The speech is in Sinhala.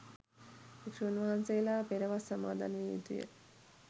භික්ෂූන් වහන්සේලා පෙර වස් සමාදන් විය යුතුය.